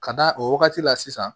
Ka d'a o wagati la sisan